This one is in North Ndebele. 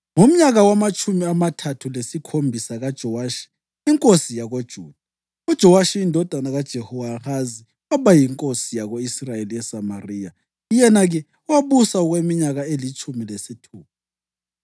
Ngomnyaka wamatshumi amathathu lesikhombisa kaJowashi inkosi yakoJuda, uJowashi indodana kaJehowahazi waba yinkosi yako-Israyeli eSamariya, yena-ke wabusa okweminyaka elitshumi lesithupha.